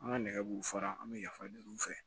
An ka nɛgɛ b'u fara an bɛ yafa deli u fɛ